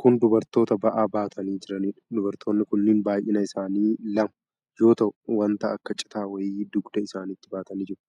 Kun dubartoota ba'aa baatanii jiraniidha. Dubartooti kun baay'inni isaanii lama yoo ta'u waan akka citaa wayii dugda isaanitti baatanii jiru.